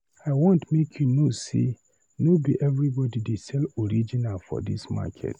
I want make you know sey no be everybodi dey sell original for dis market.